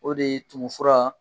O de ye tumun fura.